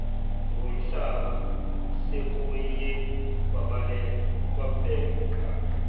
ngomhlaba sekuye kwabeka